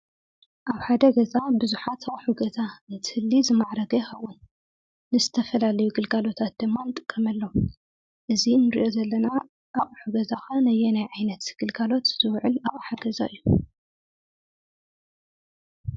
አብ ሓደ ገዛ ቡዙሓት አቑሑ ገዛ እንትህሊ ዝማዕረገ ይኸውን፡፡ ንዝተፈላለዩ ግልጋሎታት ድማ ንጥቀመሎም፡፡ እዚ ንሪኦ ዘለና አቑሑ ገዛ ኸ ነየናይ ዓይነት ግልጋሎት ዝውዕል አቅሓ ገዛ እዩ?